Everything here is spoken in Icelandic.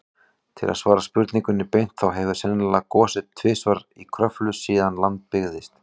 Til að svara spurningunni beint, þá hefur sennilega gosið tvisvar í Kröflu síðan land byggðist.